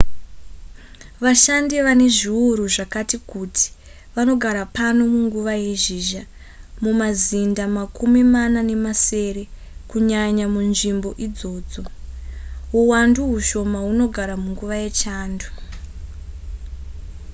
vashandi vane zviuru zvakati kuti vanogara pano munguva yezhizha mumazinda makumi mana nemasere kunyanya munzvimbo idzodzo huwandu hushoma hunogara munguva yechando